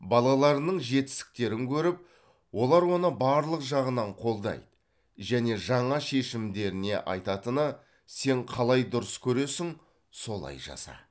балаларының жетістіктерін көріп олар оны барлық жағынан қолдайды және жаңа шешімдеріне айтатыны сен қалай дұрыс көресің солай жаса